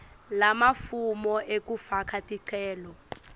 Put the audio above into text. lamafomu ekufaka ticelo